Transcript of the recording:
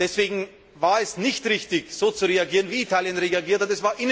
Deswegen war es nicht richtig, so zu reagieren, wie Italien reagiert